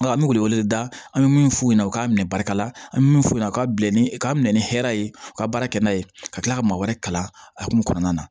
Nka an bɛ wele wele da an bɛ min f'u ɲɛna u k'a minɛ barika la an bɛ min f'u ɲɛna k'a bila ni k'a minɛ ni hɛrɛ ye u ka baara kɛ n'a ye ka tila ka maa wɛrɛ kala a hukumu kɔnɔna na